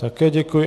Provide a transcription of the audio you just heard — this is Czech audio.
Také děkuji.